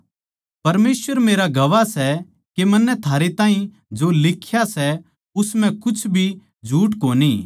परमेसवर मेरा गवाह सै के मन्नै थारे ताहीं जो लिख्या सै उस म्ह कुछ भी झूठ कोणी